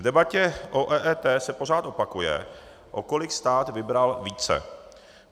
V debatě o EET se pořád opakuje, o kolik stát vybral více.